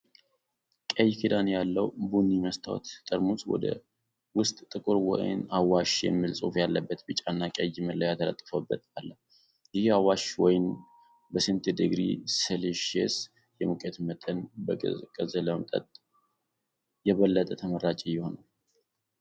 ቀይ ክዳን ያለው ቡኒ መስታወት ጠርሙስ ውስጥ ጥቁር ወይን፣ "አዋሽ" የሚል ጽሑፍ ያለበት ቢጫና ቀይ መለያ ተለጥፎበት አለ፤ ይህ የአዋሽ ወይን በስንት ዲግሪ ሴልሺየስ የሙቀት መጠን ቢቀዘቅዝ ለመጠጥ የበለጠ ተመራጭ ይሆናል?